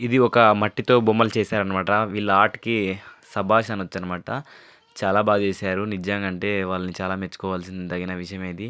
ఇది ఒక మట్టితో బొమ్మలు చేశారన్నమాట. వీళ్ళ ఆర్ట్ కి శభాష్ అనొచ్చన్నమాట చాలా బాగా చేశారు నిజంగా అంటే వాళ్ళని చాలా మెచ్చుకోవాల్సిందగిన విషయం ఇది.